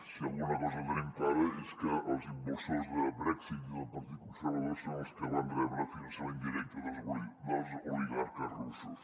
si alguna cosa tenim clara és que els impulsors del brexit i del partit conservador són els que van rebre finançament directe dels oligarques russos